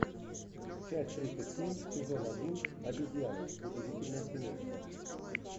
часть тридцать семь сезон один обезьяны удивительное семейство